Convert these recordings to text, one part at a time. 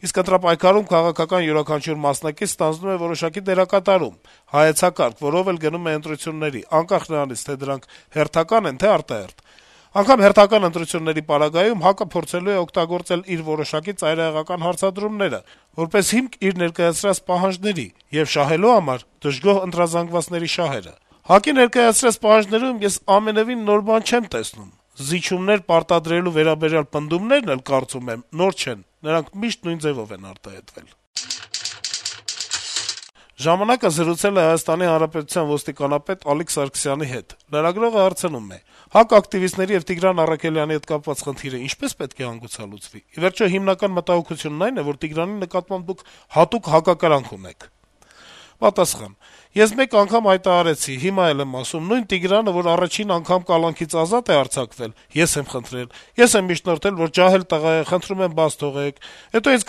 Իսկ ընտրապայքարում քաղաքական յուրաքանչյուր մասնակից ստանձնում է որոշակի դերակատարում, հայեցակարգ, որով էլ գնում է ընտրությունների` անկախ նրանից, թե դրանք հերթակա՞ն են, թե՞ արտահերթ: Անգամ հերթական ընտրությունների պարագայում ՀԱԿ-ը փորձելու է օգտագործել իր որոշակի ծայրահեղական հարցադրումները` որպես հիմք իր ներկայացրած պահանջների եւ շահելու համար դժգոհ ընտրազանգվածի շահերը: ՀԱԿ-ի ներկայացրած պահանջներում ես ամենեւին նոր բան չեմ տեսնում: Զիջումներ պարտադրելու վերաբերյալ պնդումներն էլ, կարծում եմ, նոր չեն` նրանք միշտ նույն ձեւով են արտահայտվել»: «Ժամանակ»-ը զրուցել է ՀՀ ոստիկանապետ Ալիկ Սարգսյանի հետ: Լրագրողը հարցնում է. - «ՀԱԿ ակտիվիստ Տիգրան Առաքելյանի հետ կապված խնդիրը ինչպե՞ս պետք է հանգուցալուծվի: Ի վերջո, հիմնական մտահոգությունն այն է, որ Տիգրանի նկատմամբ Դուք հատուկ հակակրանք ունեք»: Պատասխան. - «Ես մեկ անգամ հայտարարեցի, հիմա էլ եմ ասում: Նույն Տիգրանը, որ առաջին անգամ կալանքից ազատ է արձակվել, ես եմ խնդրել: Ես եմ միջնորդել, որ ջահել տղա է՝ խնդրում եմ բաց թողեք: Հետո ինձ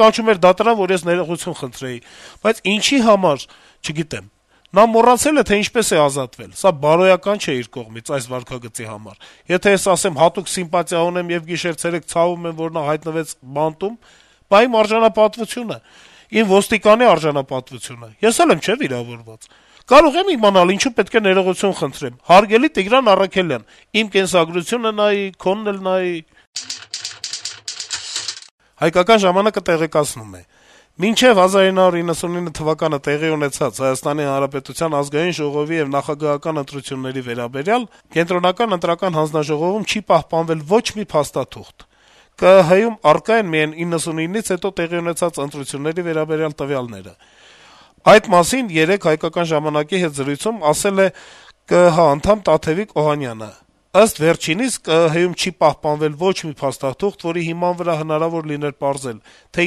կանչում էր դատարան, որ ես ներողություն խնդրեի, բայց թե ինչի համար, չգիտեմ: Նա մոռացել է, թե ինչպես է ազատվել: Սա բարոյական չէ իր կողմից՝ այս վարքագծի համար: Եթե ես ասեմ՝ հատուկ սիմպատիա ունեմ եւ գիշեր-ցերեկ ցավում եմ, որ նա հայտնվեց բանտում, բա իմ արժանապատվությո՞ւնը, իմ ոստիկանի արժանապատվությո՞ւնը: Ես էլ եմ չէ՞ վիրավորված: Կարո՞ղ եմ իմանալ, ինչու պետք է ներողություն խնդրեմ: Հարգելի Տիգրան Առաքելյան, իմ կենսագրությունը նայի, քոնն էլ նայի»: «Հայկական ժամանակ»-ը տեղեկացնում է. - «Մինչեւ 1999 թվականը տեղի ունեցած ՀՀ Ազգային ժողովի եւ նախագահական ընտրությունների վերաբերյալ Կենտրոնական ընտրական հանձնաժողովում չի պահպանվել ոչ մի փաստաթուղթ: ԿԸՀ-ում առկա են միայն 1999-ից հետո տեղի ունեցած ընտրությունների վերաբերյալ տվյալները»: Այդ մասին երեկ թերթի հետ զրույցում ասել է ԿԸՀ-ի անդամ Տաթեւիկ Օհանյանը: Ըստ վերջինիս, ԿԸՀ-ում չի պահպանվել ոչ մի փաստաթուղթ, որի հիման վրա հնարավոր լիներ պարզել, թե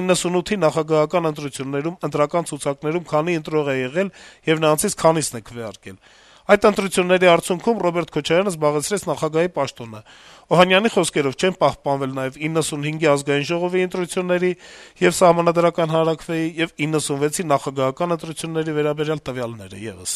1998-ի նախագահական ընտրություններում ընտրական ցուցակներում քանի ընտրող է եղել եւ նրանցից քանիսն է քվեարկել: Այդ ընտրությունների արդյունքում Ռոբերտ Քոչարյանը զբաղեցրեց նախագահի պաշտոնը: Օհանյանի խոսքերով` չեն պահպանվել նաեւ 1995-ի ԱԺ ընտրությունների եւ Սահմանադրական հանրաքվեի ու 1996-ի նախագահական ընտրությունների վերաբերյալ տվյալները եւս»: